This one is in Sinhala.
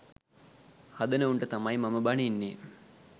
හදන උන්ට තමයි මම බනින්නේ